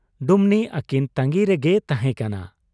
ᱰᱩᱢᱱᱤ ᱟᱹᱠᱤᱱ ᱛᱟᱺᱜᱤ ᱨᱮᱜᱮᱭ ᱛᱟᱦᱮᱸ ᱠᱟᱱᱟ ᱾